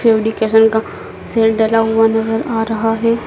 का डला हुआ नज़र आ रहा है।